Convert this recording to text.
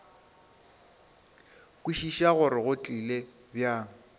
kwešiša gore go tlile bjang